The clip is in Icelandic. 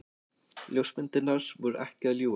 Ljósmyndirnar voru ekki að ljúga.